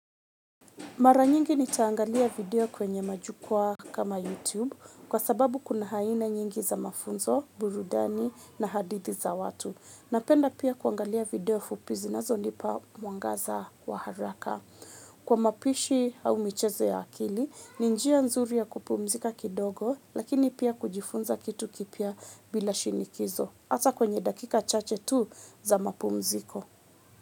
Mara nyingi nitaangalia video kwenye majukwaa kama YouTube kwa sababu kuna aina nyingi za mafunzo, burudani na hadithi za watu. Napenda pia kuangalia video fupi zinazonipa mwangaza wa haraka. Kwa mapishi au michezo ya akili, ni njia nzuri ya kupumzika kidogo lakini pia kujifunza kitu kipya bila shinikizo. Hata kwenye dakika chache tu za mapumziko.